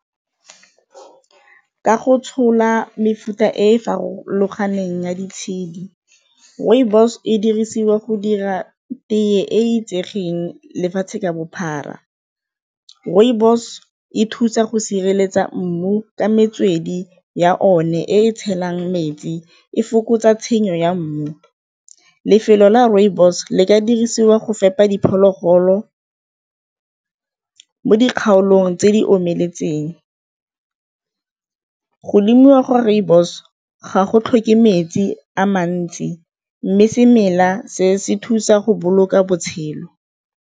Ka go tshola mefuta e farologaneng ya di tshedi, rooibos e dirisiwa go dira tee e itsegeng lefatshe ka bophara. Rooibos e thusa go sireletsa mmu ka metswedi ya one e tshelang metsi e fokotsa tshenyo ya mmu. Lefelo la rooibos le ka dirisiwa go fepa diphologolo mo dikgaolong tse di omeletseng, go lemiwa gwa rooibos ga go tlhoke metsi a mantsi mme semela se se thusa go boloka botshelo.